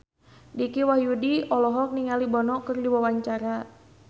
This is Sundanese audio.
Dicky Wahyudi olohok ningali Bono keur diwawancara